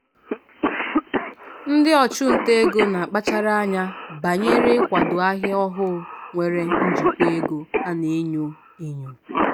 ndị ọchụnta ego na-akpachara anya banyere ikwado ahịa ọhụụ nwere njikwa ego a na-enyo enyo.